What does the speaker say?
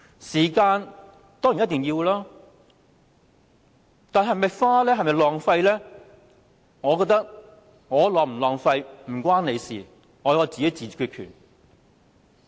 時間當然一定要付出，但是否浪費，我覺得我是否浪費時間與你無關，我自有決定權。